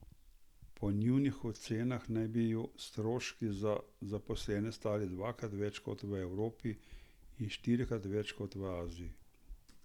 Po njunih ocenah naj bi ju stroški za zaposlene stali dvakrat več kot v Evropi in štirikrat več kot v Aziji.